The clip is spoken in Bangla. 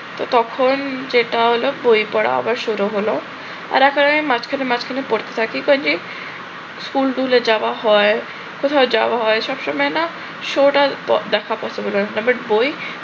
তো তখন যেটা হলো বই পড়া আবার শুরু হলো আর এরপরে মাঝখানে মাঝখানে পড়তে থাকি ওই হয়ে school টুলে যাওয়া হয় কোথাও যাওয়া হয় সব সময় না show টা দেখা possible হয়ে উঠে না but বই